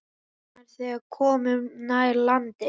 Batnar, þegar komum nær landi.